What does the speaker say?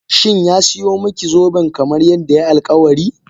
Shin ya siyo miki zoben kamar yadda yayi alkawari?